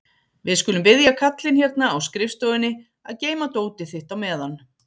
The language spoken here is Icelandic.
Við skulum biðja kallinn hérna á skrifstofunni að geyma dótið þitt á meðan.